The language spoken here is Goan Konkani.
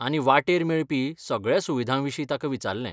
आनी वाटेर मेळपी सगळ्या सुविधां विशीं ताका विचारलें.